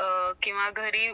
actress भेटतात